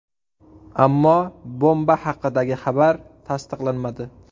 Ammo bomba haqidagi xabar tasdiqlanmadi.